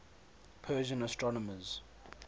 persian astronomers